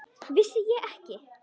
Vissi ég ekki!